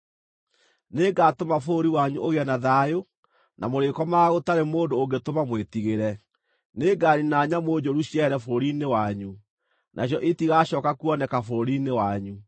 “ ‘Nĩngatũma bũrũri wanyu ũgĩe na thayũ, na mũrĩkomaga gũtarĩ mũndũ ũngĩtũma mwĩtigĩre. Nĩnganiina nyamũ njũru ciehere bũrũri-inĩ wanyu. Nacio itigacooka kuoneka bũrũri-inĩ wanyu.